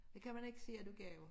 Det kan man ikke sige at du kan jo